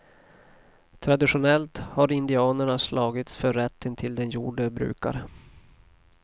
Traditionellt har indianerna slagits för rätten till den jord de brukar.